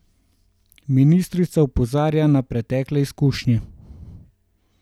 Ministrica opozarja na pretekle izkušnje.